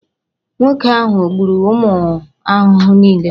Nwoke ahụ o gburu ụmụ ahụhụ niile?